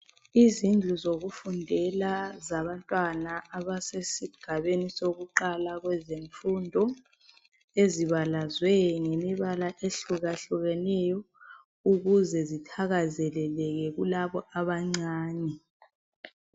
Izindlu zokufundela zabantwana abasesigabeni sokuqala kwezemfundo ezibalazwe ngemibala ehlukahlukeneyo ukuze zithakazeleleke kulabo abancane